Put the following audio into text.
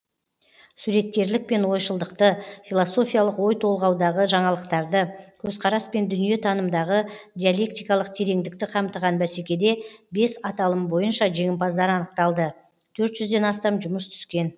суреткерлік пен ойшылдықты философиялық ой толғаудағы жаңалықтарды көзқарас пен дүниетанымдағы диалектикалық тереңдікті қамтыған бәсекеде бес аталым бойынша жеңімпаздар анықталды төрт жүзден астам жұмыс түскен